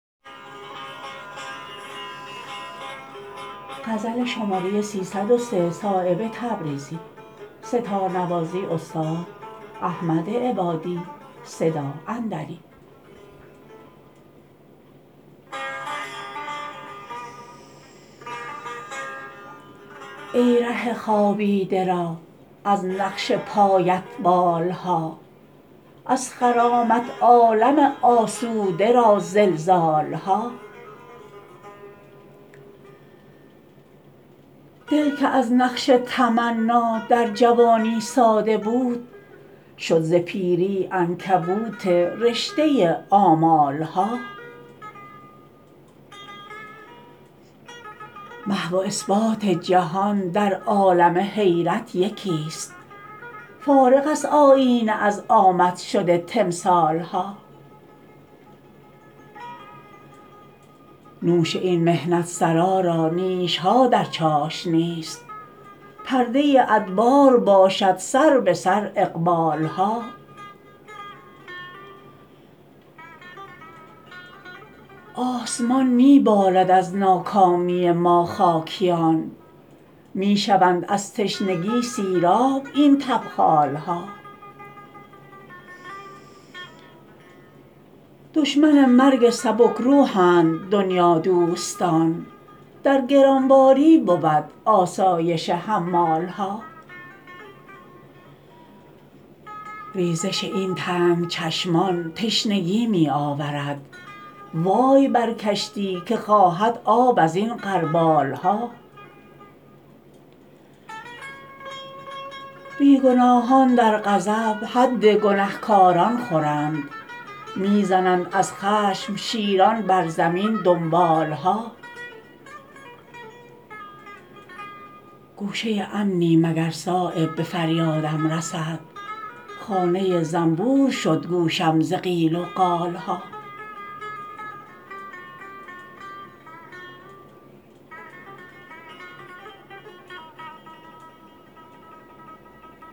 ای ره خوابیده را از نقش پایت بال ها از خرامت عالم آسوده را زلزال ها دل که از نقش تمنا در جوانی ساده بود شد ز پیری عنکبوت رشته آمال ها محو و اثبات جهان در عالم حیرت یکی است فارغ است آیینه از آمد شد تمثال ها نوش این محنت سرا را نیش ها در چاشنی است پرده ادبار باشد سربه سر اقبال ها آسمان می بالد از ناکامی ما خاکیان می شوند از تشنگی سیراب این تبخال ها دشمن مرگ سبک روحند دنیادوستان در گران باری بود آسایش حمال ها ریزش این تنگ چشمان تشنگی می آورد وای بر کشتی که خواهد آب ازین غربال ها بی گناهان در غضب حد گنهکاران خورند می زنند از خشم شیران بر زمین دنبال ها گوشه امنی مگر صایب به فریادم رسد خانه زنبور شد گوشم ز قیل و قال ها